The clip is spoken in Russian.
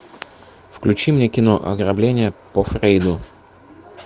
включи мне кино ограбление по фрейду